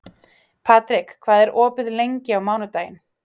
Patrik, hvað er opið lengi á mánudaginn?